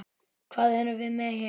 Hvað erum við með hér?